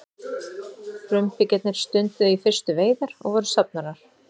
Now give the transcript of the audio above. frumbyggjarnir stunduðu í fyrstu veiðar og voru safnarar